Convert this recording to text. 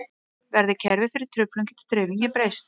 Verði kerfið fyrir truflun getur dreifingin breyst.